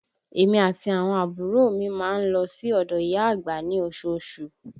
Èmi àti àwọn àbúrò mi má ń lọ sí odò ìyá àgbà ní osoosù